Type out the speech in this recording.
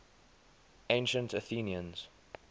ancient athenians